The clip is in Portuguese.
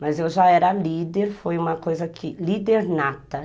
Mas eu já era líder, foi uma coisa que... Líder nata.